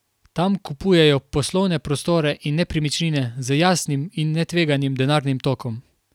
Tam kupujejo poslovne prostore in nepremičnine z jasnim in netveganim denarnim tokom.